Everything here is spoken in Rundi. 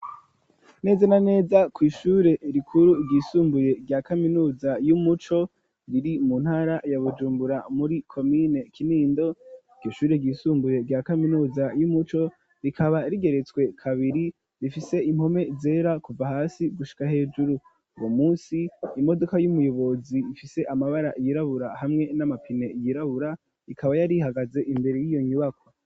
Neza na neza kw'ishure rikuru ryisumbuye rya kaminuza y'umuco riri mu ntara ya Bujumbura muri komine Kinindo iryo shure ryisumbuye rya kaminuza y'umuco rikaba rigeretswe kabiri rifise impome zera kuva hasi gushika hejuru uwo munsi imodoka y'umuyobozi ifise amabara yirabura hamwe n'amapine yirabura ikaba yari hagaze imbere yiyo nyubako